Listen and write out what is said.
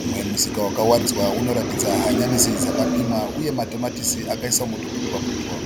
Umwe musika wakararidwa unoratidza hanyanisi dzakapimwa uye matomatisi akaiswa mutuputwa putwa.